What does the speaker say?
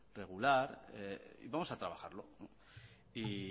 regular vamos a trabajarlo y